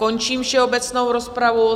Končím všeobecnou rozpravu.